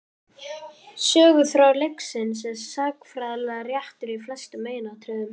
Söguþráður leiksins er sagnfræðilega réttur í flestum meginatriðum.